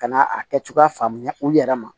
Ka na a kɛcogoya faamuya u yɛrɛ ma